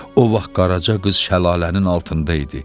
O vaxt Qaraca qız şəlalənin altında idi.